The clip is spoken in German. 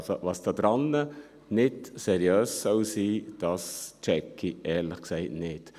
Also: Was daran nicht seriös sein soll, checke ich ehrlich gesagt nicht.